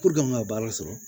Puruke n ka baara sɔrɔ